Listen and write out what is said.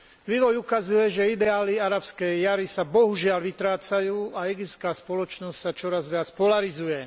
Vývoj ukazuje, že ideály Arabskej jari sa bohužiaľ vytrácajú a egyptská spoločnosť sa čoraz viac polarizuje.